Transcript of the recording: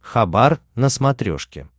хабар на смотрешке